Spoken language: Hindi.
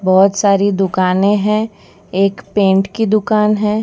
बहोत सारी दुकानें है एक पेंट की दुकान है।